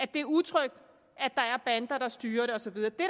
det er utrygt at der er bander der styrer det og så videre det